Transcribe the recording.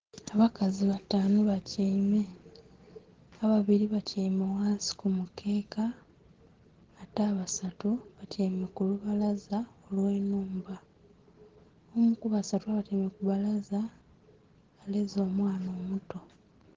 Abakazi bataanu batyaime. Ababili batyaime ghansi ku mukeeka ate abasatu batyaime ku lubalaza olw'ennhumba. Omu kubasatu abatyaime ku bbalaza aleze omwana omuto.